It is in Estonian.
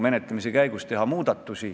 Aga miks me siis probleemiga ei tegele?